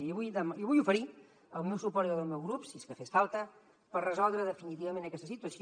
i li vull oferir el meu suport i el del meu grup si és que fes falta per resoldre definitivament aquesta situació